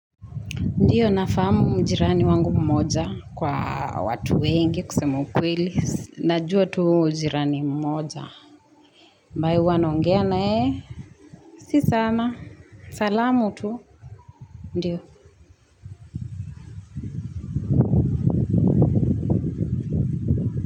Ndiyo na fahamu mjirani wangu mmoja kwa watu wengi kusema kweli. Najua tu jirani mmoja. Ambaye huwa naongea naye. Si sana. Salamu tu. Ndiyo.